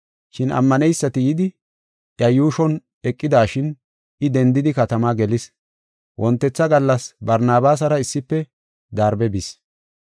Shin ammaneysati yidi, iya yuushon eqidashin I dendidi katamaa gelis. Wontetha gallas Barnabaasara issife Darbe bis.